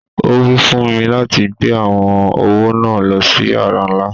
Owí fún mi láti gbé awọn owó náà lọ sí yàrà nlá.